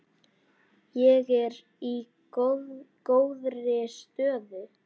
Ég er í góðri stöðu.